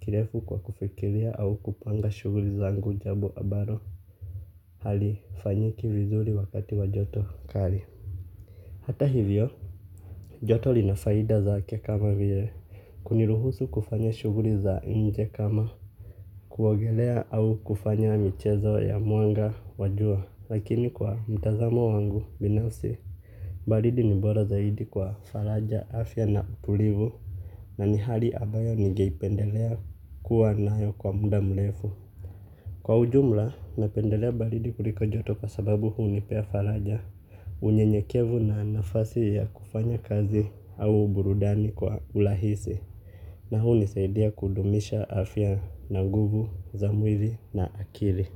kirefu kwa kufikiria au kupanga shughuli zangu jambo ambalo halifanyiki vizuri wakati wa joto kali. Hata hivyo, joto lina faida zake kama vile. Kuniruhusu kufanya shughuli za nje kama. Kuogelea au kufanya michezo ya mwanga wa jua. Lakini kwa mtazamo wangu binafsi. Baridi ni bora zaidi kwa faraja, afya na utulivu. Na ni hali ambayo nigeipendelea kuwa nayo kwa muda mrefu. Kwa ujumla, napendelea baridi kuliko joto kwa sababu hunipea faraja. Unyenyekevu na nafasi ya kufanya kazi au burudani kwa urahisi. Na hunisaidia kudumisha afya na nguvu, za mwili na akili.